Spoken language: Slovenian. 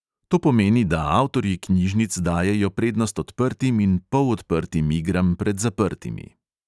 To pomeni, da avtorji knjižnic dajejo prednost odprtim in polodprtim igram pred zaprtimi.